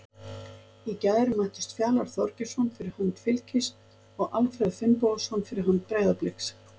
Í gær mættust Fjalar Þorgeirsson fyrir hönd Fylkis og Alfreð Finnbogason fyrir hönd Breiðabliks.